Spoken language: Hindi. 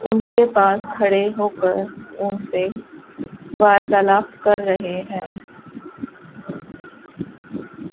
उनके पास खड़े होकर उनसे वार्तालाप कर रहे हैं।